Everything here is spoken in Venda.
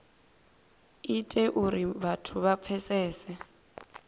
ite uri vhathu vha pfesese